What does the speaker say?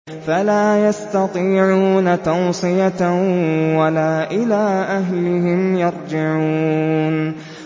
فَلَا يَسْتَطِيعُونَ تَوْصِيَةً وَلَا إِلَىٰ أَهْلِهِمْ يَرْجِعُونَ